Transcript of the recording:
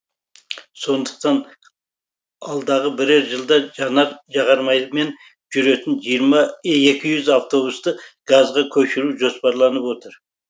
сондықтан алдағы бірер жылда жанар жағармаймен жүретін екі жүз автобусты газға көшіру жоспарланып отыр